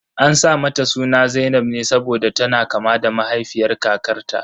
An sa mata suna zainab ne saboda tana kama da mahaifiyar kakarta.